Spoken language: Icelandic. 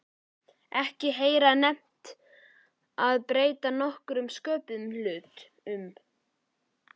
Ekki heyra nefnt að breyta nokkrum sköpuðum hlut.